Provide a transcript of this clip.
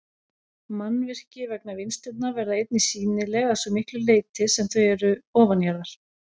Mannvirki vegna vinnslunnar verða einnig sýnileg að svo miklu leyti sem þau eru ofanjarðar.